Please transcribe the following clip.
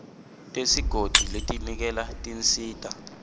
tesigodzi letiniketa tinsita